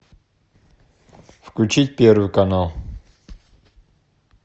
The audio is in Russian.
включить первый канал